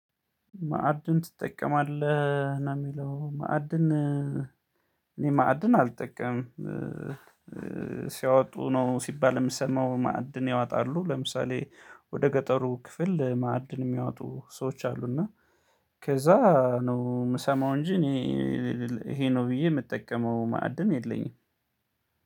ማዕድን ትጠቀማለህ ነው የሚለው ማዕድን እኔ ማዕድን አልጠቀምም። ሲያወጡ ነው ሲባል የምሰማው ማዕድን ያወጣሉ ለምሳሌ ወደ ገጠሩ ክፍል ማዕድን የሚያወጡ ሰዎች አሉ። እና ከዛ ነው የምሰማው እንጂ እኔ ይሄ ነው ብዬ የምጠቀመው ማዕድን የለኝም።